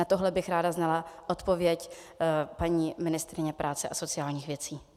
Na tohle bych ráda znala odpověď paní ministryně práce a sociálních věcí.